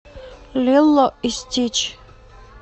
лило и стич